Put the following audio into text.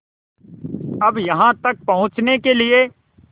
अब यहाँ तक पहुँचने के लिए